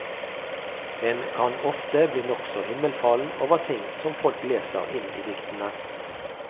En kan ofte bli nokså himmelfallen over ting som folk leser inn i diktene.